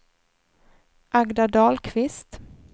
Agda Dahlqvist